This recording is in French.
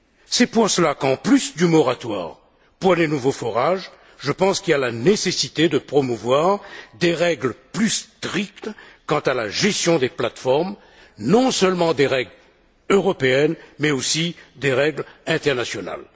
C'est pour cela qu'en plus du moratoire pour les nouveaux forages, je pense qu'il est nécessaire de promouvoir des règles plus strictes quant à la gestion des plateformes, non seulement des règles européennes, mais aussi des règles internationales.